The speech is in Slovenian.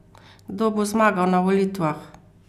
Kdo bo zmagal na volitvah?